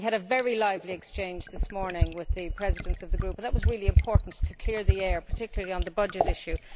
We had a very lively exchange this morning with the Presidents of the Groups, and that was very important in clearing the air, particularly on the budget issue.